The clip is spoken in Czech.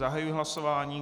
Zahajuji hlasování.